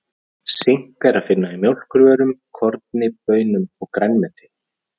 Sink er að finna í mjólkurvörum, korni, baunum og grænmeti.